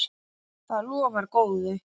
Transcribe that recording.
Það lofar góðu.